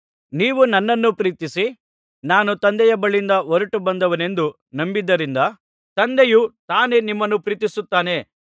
ನೀವು ನನ್ನನ್ನು ಪ್ರೀತಿಸಿ ನಾನು ತಂದೆಯ ಬಳಿಯಿಂದ ಹೊರಟುಬಂದವನೆಂದು ನಂಬಿದ್ದರಿಂದ ತಂದೆಯು ತಾನೇ ನಿಮ್ಮನ್ನು ಪ್ರೀತಿಸುತ್ತಾನೆ